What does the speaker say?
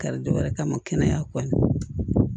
Kari dɔw yɛrɛ kama kɛnɛya kɔni